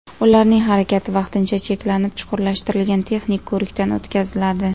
Ularning harakati vaqtincha cheklanib, chuqurlashtirilgan texnik ko‘rikdan o‘tkaziladi.